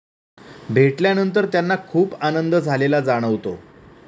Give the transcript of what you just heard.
भेटल्यानंतर त्यांना खूप आनंद झालेला जाणवतो.